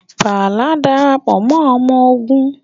Bala Darapọ mọ ọmọ ogun